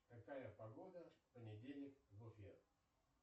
какая погода в понедельник в уфе